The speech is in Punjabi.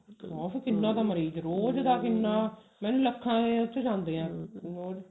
ਆਹੋ ਕਿੰਨਾ ਤਾਂ ਮਰੀਜ ਰੋਜ਼ ਦਾ ਕਿੰਨਾ ਮੈਨੂੰ ਲੱਖਾ ਚ ਰੋਜ਼ ਜਾਂਦੇ ਨੇ ਲੋਕ